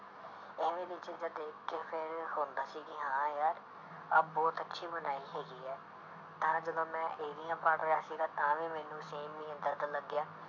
ਇਵੇਂ ਦੀ ਚੀਜ਼ਾਂ ਦੇਖ ਕੇ ਫਿਰ ਹੁੰਦਾ ਸੀ ਕਿ ਹਾਂ ਯਾਰ ਆਹ ਬਹੁਤ ਅੱਛੀ ਬਣਾਈ ਹੈਗੀ ਹੈ ਤਾਂ ਜਦੋਂ ਮੈਂ ਪੜ੍ਹ ਰਿਹਾ ਸੀਗਾ ਤਾਂ ਵੀ ਮੈਨੂੰ same ਹੀ ਏਦਾਂ ਦਾ ਲੱਗਿਆ,